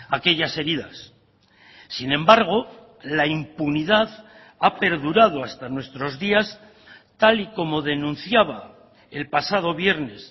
aquellas heridas sin embargo la impunidad ha perdurado hasta nuestros días tal y como denunciaba el pasado viernes